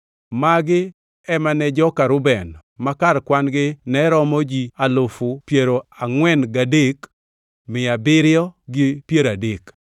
Magi ema ne joka Reuben; ma kar kwan-gi ne romo ji alufu piero angʼwen mia abiriyo gi piero adek (43,730).